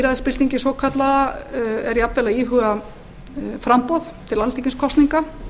að lýðræðisbyltingin svokallaða er jafnvel að íhuga framboð til alþingiskosninga